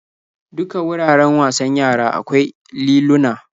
Duka wuraren wasan yara akwai liluna.